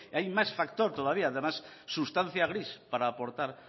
hay más factor todavía además sustancia gris para aportar